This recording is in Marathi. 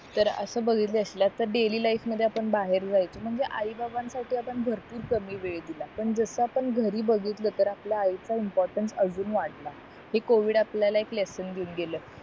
तर असं बघितले असल्या तर डैली लाईफ मध्ये आपण बाहेर जायचो म्हणजे आई बाबांन साठी आपण भरपूर कमी वेळ दिला पण जसा आपण घरी बघितल तर आपल्या आईचा इम्पोरटन्स अजून वाढला हे covid आपल्याला एक लेसन देऊन गेला